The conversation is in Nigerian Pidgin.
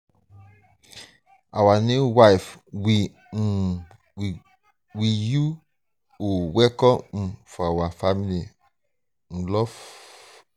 our new wife we um we you oo welcome um to our family um of love.